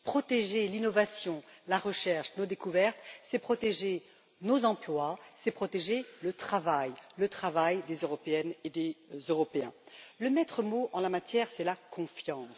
Protéger l'innovation, la recherche et nos découvertes, c'est protéger nos emplois, c'est protéger le travail, celui des Européennes et des Européens. Le maître mot en la matière, c'est la confiance.